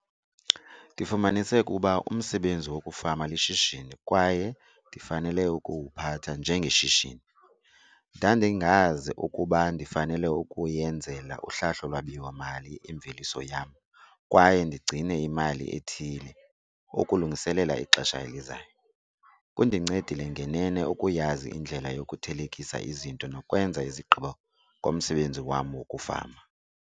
Ndifumanise ukuba umsebenzi wokufama lishishini kwaye ndifanele ukuwuphatha njengeshishini. Ndandingazi ukuba ndifanele ukuyenzela uhlahlo lwabiwo-mali imveliso yam kwaye ndigcine imali ethile ukulungiselela ixesha elizayo. Kundincedile ngenene ukuyazi indlela yokuthelekisa izinto nokwenza izigqibo ngomsebenzi wam wokufama.